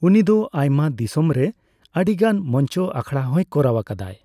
ᱩᱱᱤ ᱫᱚ ᱟᱭᱢᱟ ᱫᱤᱥᱚᱢᱨᱮ ᱟᱹᱰᱤᱜᱟᱱ ᱢᱚᱧᱪᱚ ᱟᱠᱷᱲᱟ ᱦᱚᱸᱭ ᱠᱚᱨᱟᱣ ᱟᱠᱟᱫᱟᱭ ᱾